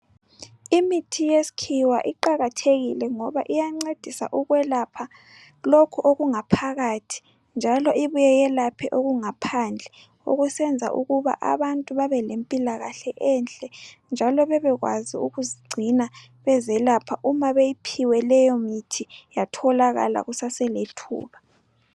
Imithi yesikhiwa iqakathekile ngoba iyancedisa ukwelapha lokho, okungaphakathi njalo ibuye yelaphe okungaphandle. Okusenza ukuba abantu babelempilakahle enhle, njalo bebekwazi ukuzigcina, bezelapha. Uma, beyiphiwe leyomithi, yatholakala kusaselethuba.